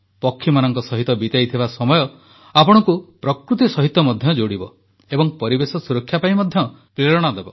ପକ୍ଷୀମାନଙ୍କ ସହିତ ବିତାଇଥିବା ସମୟ ଆପଣଙ୍କୁ ପ୍ରକୃତି ସହିତ ମଧ୍ୟ ଯୋଡିବ ଏବଂ ପରିବେଶ ସୁରକ୍ଷା ପାଇଁ ମଧ୍ୟ ପ୍ରେରଣା ଦେବ